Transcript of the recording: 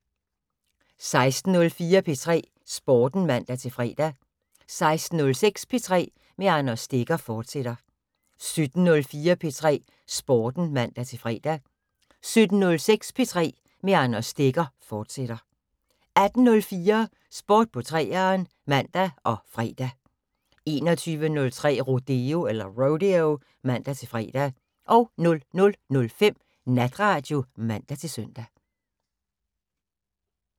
16:04: P3 Sporten (man-fre) 16:06: P3 med Anders Stegger, fortsat 17:04: P3 Sporten (man-fre) 17:06: P3 med Anders Stegger, fortsat 18:04: Sport på 3'eren (man og fre) 21:03: Rodeo (man-fre) 00:05: Natradio (man-søn)